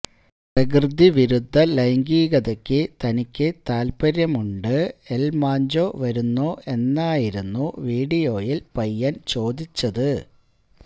പ്രകൃതി വിരുദ്ധ ലൈംഗികതയ്ക്ക് തനിക്ക് താല്പ്പര്യമുണ്ട് എല് മാഞ്ചോ വരുന്നോ എന്നായിരുന്നു വീഡിയോയില് പയ്യന് ചോദിച്ചത്